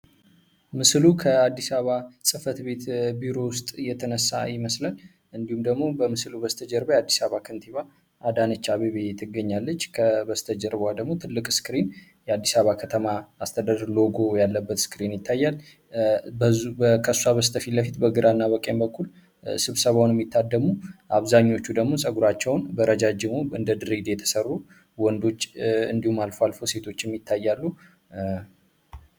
ምስሉ ከአዲስ አበባ ከተማ ጽፈት ቤት ቢሮ ውስጥ የተነሳ ይመስለል። እንዲሁም ደግሞ በምስሉ በስተ ጀርባ የአዲስ አበባ ከንቲባ አዳነቻ አቤቤ ትገኛለች። ከበስተ ጀርበዋደግሞ ትልቅ ስክሬን የአዲሳባ ከተማ አስተደር ሎጎ ያለበት ስክሬን ይታያል በከሷ በስተፊ ለፊት በግራ እና በቂም በኩል ስብሰባው የሚታደሙ አብዛኞቹ ደግሞ ጸጉራቸውን በረጃጅሞ እንደ ድሬድ የተሠሩ ወንዶች እንዲሁም አልፎ አልፎ ሴቶች የሚታያሉ።